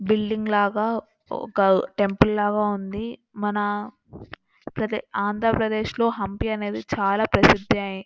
Building లాగా ఒక temple లాగా ఉంది. మన ప్రదె ఆంధ్రప్రదేశ్ లో హంపీ అనేది చాలా ప్రసిద్ధి ఐ--